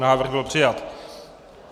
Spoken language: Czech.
Návrh byl přijat.